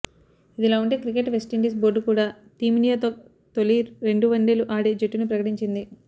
ఇదిలా ఉంటే cricket West Indies board కూడా టీమిండియాతో తొలి రెండు వన్డేలు ఆడే జట్టును ప్రకటించింది